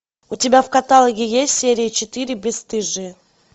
у тебя в каталоге есть серия четыре бесстыжие